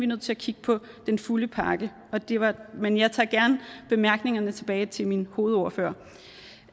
nødt til at kigge på den fulde pakke men jeg tager gerne bemærkningerne med tilbage til min hovedordfører